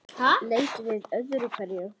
Leit við öðru hverju.